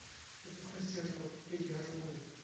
запускай сериал эй арнольд